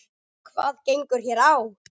Hvað gengur hér á?